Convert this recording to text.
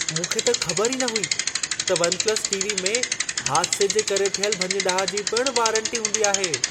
मूंखे त ख़बर ई न हुई त वन-प्लस टी.वी. में हादिसे जे करे थियल भञ-डाह जी पिण वारंटी हूंदी आहे।